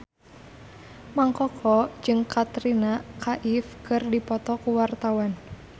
Mang Koko jeung Katrina Kaif keur dipoto ku wartawan